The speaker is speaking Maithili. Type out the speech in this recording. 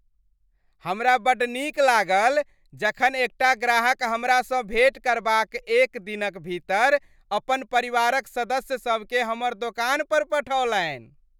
हमरा बड्ड नीक लागल जखन एकटा ग्राहक हमरासँ भेट करबाक एक दिनक भीतर अपन परिवारक सदस्यसभकेँ हमर दोकान पर पठौलनि।